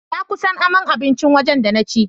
Na kusan aman abincin waje da na ci.